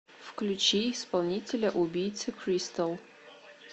включи исполнителя убийцы кристал